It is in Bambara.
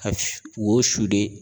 Ka su wo sude